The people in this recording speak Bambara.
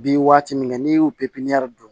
Bi waati min na n'i y'u pipiniyɛri